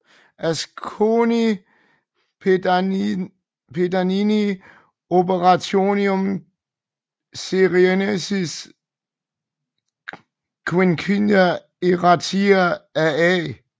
Asconii Pediani Orationum Ciceronis quinque enarratio af A